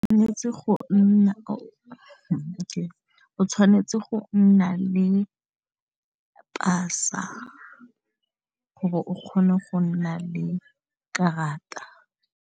O tshwanetse go nna le pasa go bo o kgone go nna le karata.